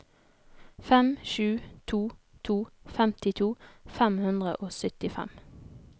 fem sju to to femtito fem hundre og syttifem